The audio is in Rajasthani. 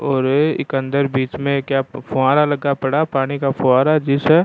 और ये इक अंदर बिच में एक फुहारा लगा पड़ा पानी का फुहारा जिस --